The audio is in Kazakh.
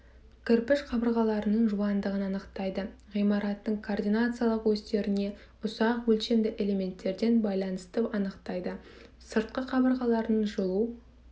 кірпіш қабырғаларының жуандығын анықтайды ғимараттың координациялық осьтеріне ұсақ өлшемді элементтерден байланысты анықтайды сыртқы қабырғалардың жылу